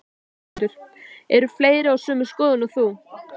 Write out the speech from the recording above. Höskuldur: Eru fleiri á sömu skoðun og þú?